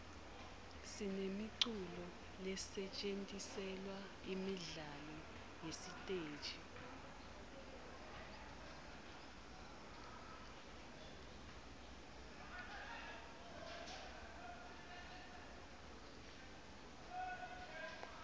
sinemiculo lesetjentiselwa imidlalo yesiteji